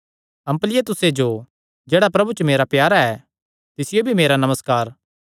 अम्पलियातुसे जो जेह्ड़ा प्रभु च मेरा प्यारा ऐ तिसियो भी मेरा नमस्कार